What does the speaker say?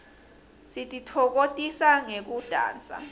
sititfokotisa ngekudansa